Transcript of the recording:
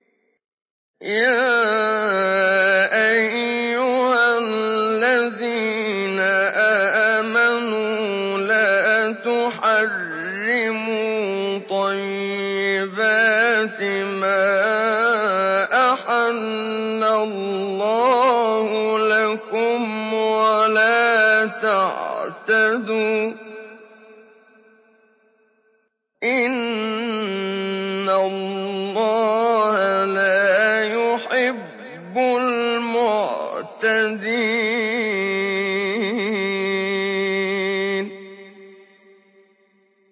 يَا أَيُّهَا الَّذِينَ آمَنُوا لَا تُحَرِّمُوا طَيِّبَاتِ مَا أَحَلَّ اللَّهُ لَكُمْ وَلَا تَعْتَدُوا ۚ إِنَّ اللَّهَ لَا يُحِبُّ الْمُعْتَدِينَ